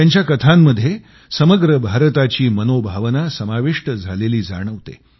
त्यांच्या कथांमध्ये समग्र भारताची मनोभावना समाविष्ट झालेली जाणवते